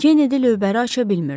Kennedy lövbəri aça bilmirdi.